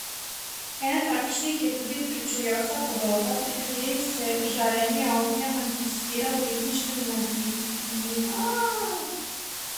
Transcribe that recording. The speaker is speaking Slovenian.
Ena takšnih je tudi pričujoča podoba, pri kateri se žarenje ognja manifestira v ritmičnem nizanju barvnih pravokotnikov.